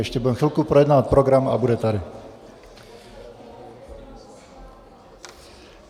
Ještě budeme chvilku projednávat program a bude tady.